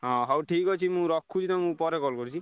ହଁ ହଉଠିକ୍ ଅଛି ମୁଁ ରଖୁଛି ତମକୁ ପରେ call କରୁଛି।